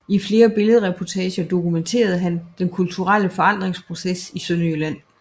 I flere billedreportager dokumenterede han den kulturelle forandringsproces i Sønderjylland